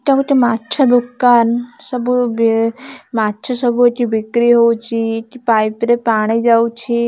ଏଟା ଗୋଟେ ମାଛ ଦୋକାନ ସବୁ ବେଳେ ମାଛ ସବୁ ଏଠି ବିକ୍ରି ହଉଚି କି ପାଇପ୍ ରେ ପାଣି ଯାଉଛି।